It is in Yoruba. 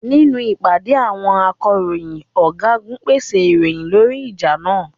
Nínú ìpàdé àwọn akọ̀ròyìn, ọ̀gágun pèsè ìròyìn lórí ìjà náà.